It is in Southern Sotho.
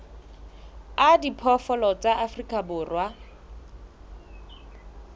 a diphoofolo tsa afrika borwa